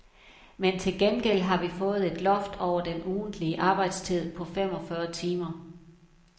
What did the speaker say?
Men til gengæld har vi fået et loft over den ugentlige arbejdstid på fem og fyrre timer.